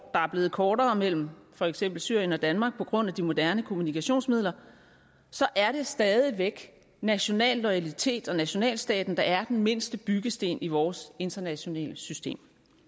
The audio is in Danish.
er blevet kortere mellem for eksempel syrien og danmark på grund af de moderne kommunikationsmidler så er det stadig væk national loyalitet og nationalstaten der er den mindste byggesten i vores internationale system